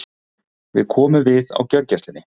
Við komum við á gjörgæslunni.